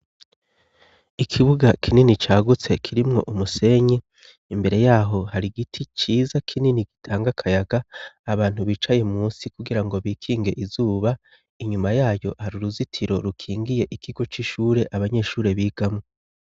Ikibuga kinini cyagutse kirimwo umusenyi imbere yaho hari giti ciza kinini gitanga kayaga abantu bicaye musi kugira ngo bikinge izuba inyuma yayo hari uruzitiro rukingiye ikigo c'ishure abanyeshuri bigamwo.